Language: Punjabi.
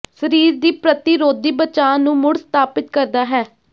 ਸਰੀਰ ਦੀ ਪ੍ਰਤੀਰੋਧੀ ਬਚਾਅ ਨੂੰ ਮੁੜ ਸਥਾਪਿਤ ਕਰਦਾ ਹੈ